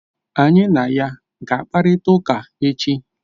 Anyị na ya ga-akparịta ụka echi?